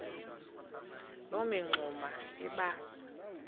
loo mingxuma iba